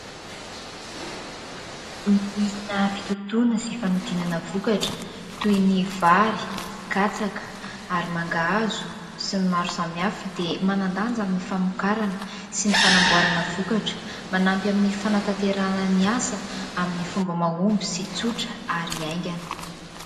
Ny milina fitotoana sy fanodinana vokatra : toy ny vary, katsaka ary mangahazo sy ny maro samihafa dia manan-danja amin'ny famokarana sy ny fanamboarana vokatra; manampy amin'ny fanatanterahana ny asa amin'ny fomba mahomby sy tsotra ary haingana.